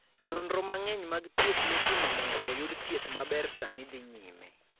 Nonro mang'eny mag thieth mitimo mondo oyud thieth maber sani dhi nyime.